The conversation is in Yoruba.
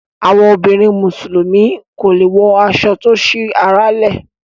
àwọn obìrin musulumi kọ lẹ wò aso to sí àrà le.